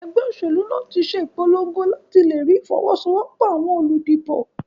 Egbé òsèlú tín se ìpologo làti lerí ìfowósowópò àwon olùdìbò